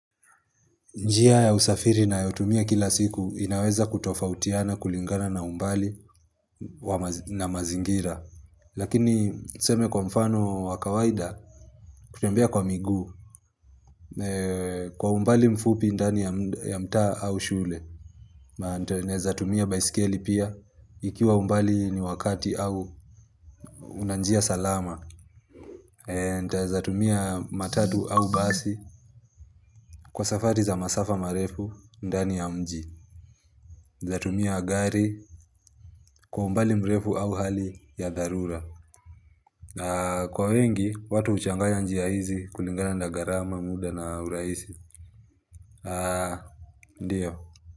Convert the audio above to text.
Njia ya usafiri nayotumia kila siku inaweza kutofautiana kulingana na umbali na mazingira Lakini tuseme kwa mfano wa kawaida kutembea kwa miguu Kwa umbali mfupi ndani ya mtaa au shule Naezatumia baisikeli pia ikiwa umbali ni wakati au una njia salama Ntaezatumia matatu au basi Kwa safari za masafa marefu ndani ya mji Zatumia gari kwa umbali mrefu au hali ya dharura. Kwa wengi, watu uchangaya njiya hizi kulingana ndagarama muda na uraisi. Ndiyo.